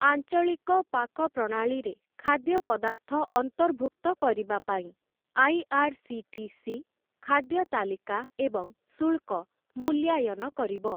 ଆଞ୍ଚଳିକ ପାକ ପ୍ରଣାଳୀରେ ଖାଦ୍ୟପଦାର୍ଥ ଅନ୍ତର୍ଭୁକ୍ତ କରିବାପାଇଁ ଆଇ.ଆର୍‌.ସି.ଟି.ସି. ଖାଦ୍ୟ ତାଲିକା ଏବଂ ଶୁଳ୍କ ମୂଲ୍ୟାୟନ କରିବ ।